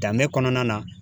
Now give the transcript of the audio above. Danbe kɔnɔna na.